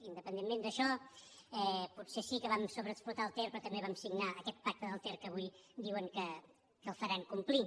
independentment d’això potser sí que vam sobreexplotar el ter però també vam signar aquest pacte del ter que avui diuen que el faran complir